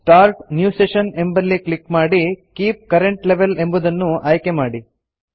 start new session ಎಂಬಲ್ಲಿ click ಮಾಡಿ keep current level ಎಂಬುದನ್ನು ಆಯ್ಕೆ ಮಾಡಿ